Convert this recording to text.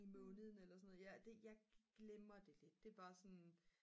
i måneden eller sådan noget jeg glemmer det lidt det er bare sådan